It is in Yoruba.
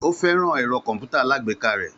Ó fẹ́ràn ẹ̀rọ kọ̀m̀pútà alágbèéká rẹ̀